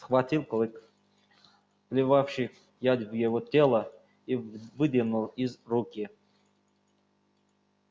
схватил клык вливавший яд в его тело и выдернул из руки